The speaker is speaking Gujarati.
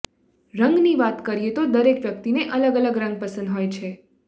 રંગની વાત કરીએ તો દરેક વ્યક્તિને અલગ અલગ રંગ પસંદ હોય છે